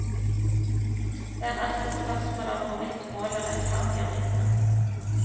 Det er altså et spørsmål om hvorvidt målet rettferdiggjør midlene.